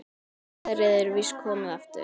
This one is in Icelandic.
Góðærið er víst komið aftur.